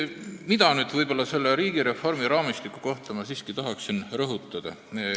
Mida ma selle riigireformi raamistiku kohta siiski tahan öelda?